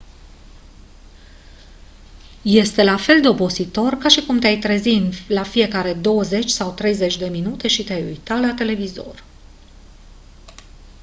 este la fel de obositor ca și cum te-ai trezi la fiecare douăzeci sau treizeci de minute și te-ai uita la televizor